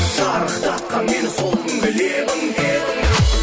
шарықтатқан мені сол күнгі лебің лебің